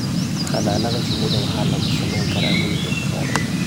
Xannaanada shinnida waxa lagu samayn karaa miyi iyo magaalo.